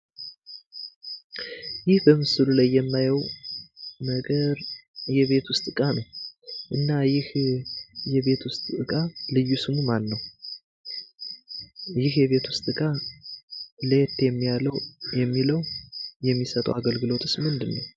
ይህ በምስሉ ላይ የማየው ነገር የቤት ውስጥ እቃ ነው ። እና ይህ የቤት ውስጥ እቃ ልዩ ስሙ ማን ነው? ይህ የቤት ውስጥ እቃ ለየት የሚለው የሚሰጠው አገልግሎትስ ምንድን ነው?